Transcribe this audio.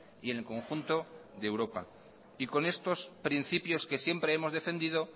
y en el conjunto de europa con estos principios que siempre hemos defendido